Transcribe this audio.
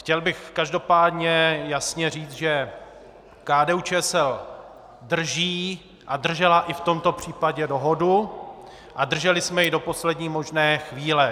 Chtěl bych každopádně jasně říct, že KDU-ČSL drží a držela i v tomto případě dohodu a drželi jsme ji do poslední možné chvíle.